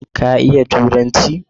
Ka iya Turanci?